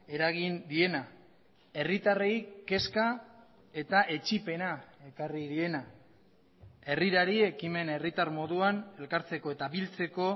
eragin diena herritarrei kezka eta etsipena ekarri diena herrirari ekimen herritar moduan elkartzeko eta biltzeko